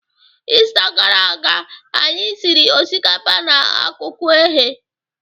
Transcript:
Ista gara aga, anyị siri osikapa na ọkụkọ eghe